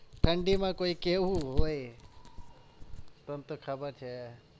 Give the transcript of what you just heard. ઠંડીમાં કોઈ કેવું હોય? તને તો ખબર છે.